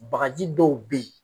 Bagaji dɔw be ye